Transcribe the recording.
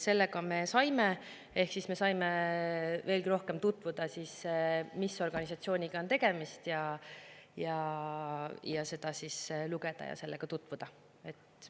Selle me ka saime ehk me saime veelgi rohkem tutvuda, mis organisatsiooniga on tegemist, saime seda lugeda ja sellega tutvuda.